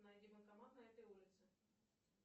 найди банкомат на этой улице